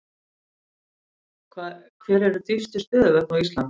Hver eru dýpstu stöðuvötn á Íslandi?